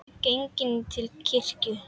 Genginn til kirkju.